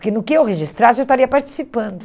Porque no que eu registrasse, eu estaria participando.